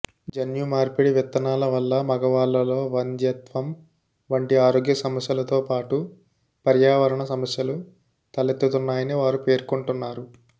జన్యు మార్పిడి విత్తనాల వల్ల మగవాళ్లలో వంధ్యత్వం వంటి ఆరోగ్య సమస్యలతోపాటు పర్యావరణ సమస్యలు తలెత్తుతున్నాయని వారు పేర్కొంటున్నారు